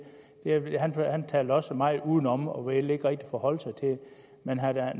han talte også meget udenom og ville ikke rigtig forholde sig til det men herre